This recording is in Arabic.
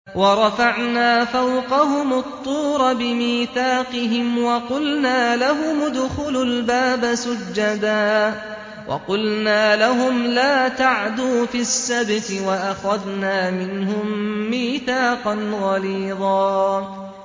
وَرَفَعْنَا فَوْقَهُمُ الطُّورَ بِمِيثَاقِهِمْ وَقُلْنَا لَهُمُ ادْخُلُوا الْبَابَ سُجَّدًا وَقُلْنَا لَهُمْ لَا تَعْدُوا فِي السَّبْتِ وَأَخَذْنَا مِنْهُم مِّيثَاقًا غَلِيظًا